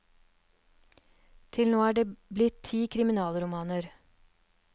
Til nå er det blitt ti kriminalromaner.